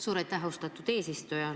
Suur aitäh, austatud eesistuja!